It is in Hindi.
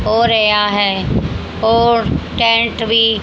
और या है और टेंट भी--